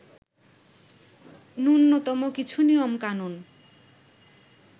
নূন্যতম কিছু নিয়মকানুন